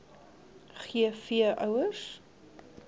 g v ouers